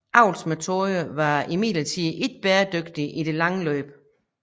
Avlsmetoderne var imidlertid ikke bæredygtige i det lange løb